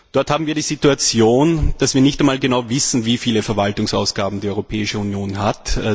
Dort haben wir die Situation, dass wir nicht einmal genau wissen, wie viele Verwaltungsausgaben die Europäische Union hat.